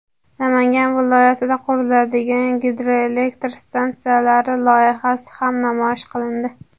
Namangan viloyatida quriladigan gidroelektr stansiyalari loyihasi ham namoyish qilindi.